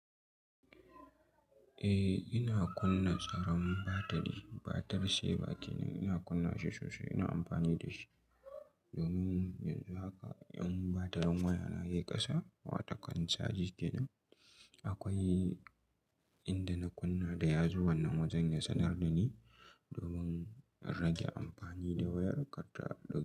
Eh ina kunna tsaron batiri, batir saver kenan ina kunna shi sosai ina amfani da shi domin yanzu haka in batirin waya na ya yi ƙasa watan caji kenan akwai inda na kunna da yazo wannan wajen ya sanar da ni domin in rage amfani da wayar karta ɗauke.